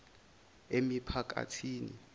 emiphakathini